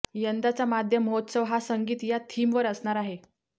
यंदाचा माध्यम महोत्सव हा संगीत या थीमवर असणार आहे